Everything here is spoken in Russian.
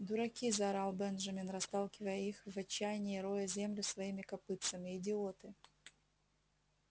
дураки заорал бенджамин расталкивая их и в отчаянии роя землю своими копытцами идиоты